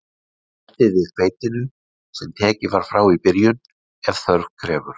Bætið við hveitinu, sem tekið var frá í byrjun, ef þörf krefur.